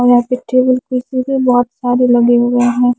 और यहाँ से टेबल कुर्सी भी बहुत सारे लगे हुए है।